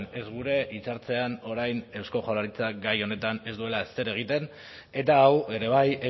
ez gure hitzartzean orain eusko jaurlaritzak gai honetan ez duela ezer egiten eta hau ere bai